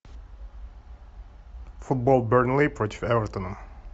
футбол бернли против эвертона